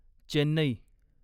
Chennai